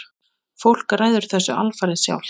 Fólk ræður þessu alfarið sjálft.